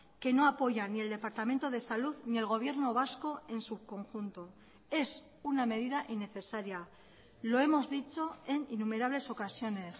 que no apoya ni el departamento de salud ni el gobierno vasco en su conjunto es una medida innecesaria lo hemos dicho en innumerables ocasiones